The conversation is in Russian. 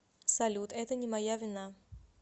салют это не моя вина